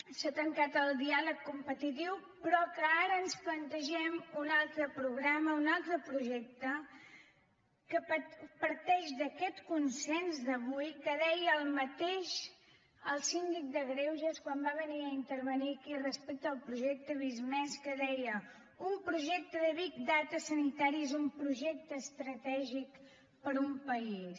s’ha tancat el diàleg competitiu però que ara ens plantegem un altre programa un altre projecte que parteix d’aquests consens d’avui que deia el mateix el síndic de greuges quan va venir a intervenir aquí respecte al projecte visc+ que deia un projecte de big data sanitari és un projecte estratègic per a un país